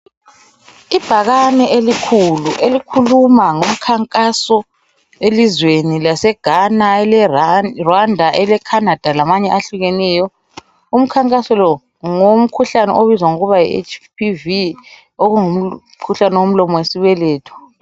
Ibhakane elikhulu elikhuluma ngomkhankaso elizweni laseGhana eleRa Rwanda eleCanada lamanye ahlukeneyo. Umkhankaso lo ngowomkhuhlane obizwa ngokuba yiHPV okungumkhuhlane womlomo wesibeletho.